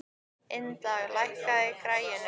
Ynda, lækkaðu í græjunum.